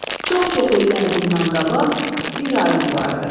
Çox-çox illər bundan qabaq bir alim vardı.